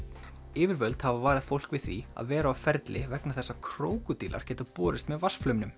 yfirvöld hafa varað fólk við því að vera á ferli vegna þess að krókódílar geta borist með